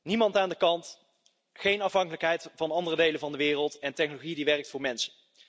Niemand aan de kant, geen afhankelijkheid van andere delen van de wereld en technologie die werkt voor mensen.